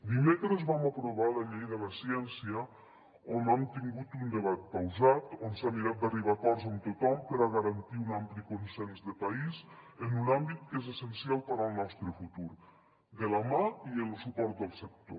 dimecres vam aprovar la llei de la ciència on hem tingut un debat pausat on s’ha mirat d’arribar a acords amb tothom per a garantir un ampli consens de país en un àmbit que és essencial per al nostre futur de la mà i amb lo suport del sector